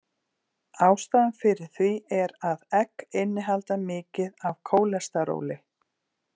Ástæðan fyrir því er að egg innihalda mikið af kólesteróli.